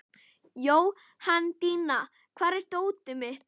Jóhanndína, hvar er dótið mitt?